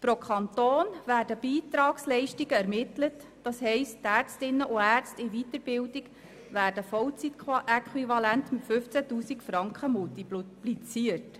Pro Kanton werden Beitragsleistungen ermittelt, das heisst die Ärztinnen und Ärzte in der Weiterbildung werden vollzeitäquivalent mit 15 000 Franken multipliziert.